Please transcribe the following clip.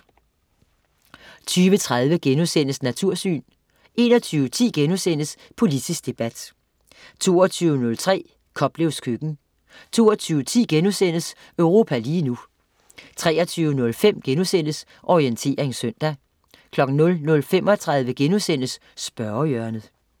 20.30 Natursyn* 21.10 Politisk debat* 22.03 Koplevs køkken 22.10 Europa lige nu* 23.05 Orientering søndag* 00.35 Spørgehjørnet*